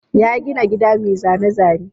Ya gina gida mai zane-zane.